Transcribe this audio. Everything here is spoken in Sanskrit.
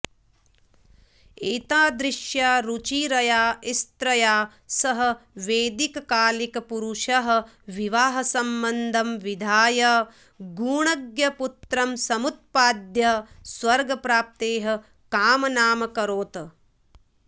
एतादृश्या रुचिरया स्त्रिया सह वैदिककालिकपुरुषः विवाहसम्बन्धं विधाय गुणज्ञपुत्रं समुत्पाद्य स्वर्गप्राप्तेः कामनामकरोत्